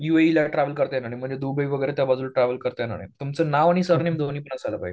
यूएइला travel करता येणार नाही म्हणजे दुबई वगैरे त्या बाजूला ट्रॅव्हल करता येणार नाही. तुमचं नाव आणि सरनेम दोन्ही पास व्हायला पाहिजे.